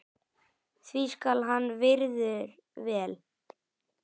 því skal hann virður vel.